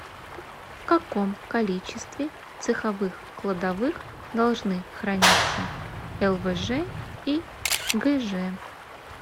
в каком количестве в цеховых кладовых должны храниться лвж и гж